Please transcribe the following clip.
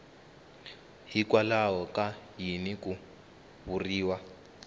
hikwalaho ka yini ku vuriwa